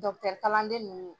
Dɔkɔtɛrikalanden ninnu